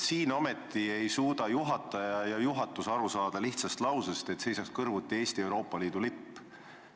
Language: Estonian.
Siin aga ei suuda juhataja ja juhatus aru saada lihtsast ettepanekust, et Valges saalis seisaks kõrvuti Eesti ja Euroopa Liidu lipp.